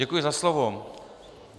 Děkuji za slovo.